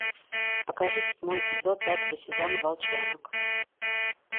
покажи седьмой эпизод пятого сезона волчонок